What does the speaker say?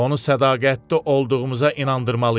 Onu sədaqətli olduğumuza inandırmalıyam.